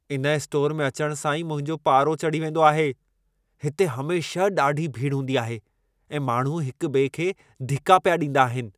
इन स्टोर में अचणु सां ई मुंहिंजो पारो चढ़ी वेंदो आहे। हिते हमेशह ॾाढी भीड़ हूंदी आहे ऐं माण्हू हिक ॿिए खे धिका पिया ॾींदा आहिनि।